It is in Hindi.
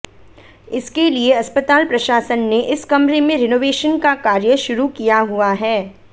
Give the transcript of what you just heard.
इसके लिए अस्पताल प्रशासन ने इस कमरे में रेनोवेशन का कार्य शुरू किया हुआ है